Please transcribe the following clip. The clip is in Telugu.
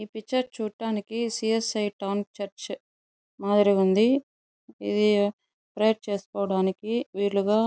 ఈ పిక్చర్ చూడ్డానికి C S I town church మాదిరి ఉంది. ఇది ప్రేయర్ చేసుకోవడానికి వీలుగా --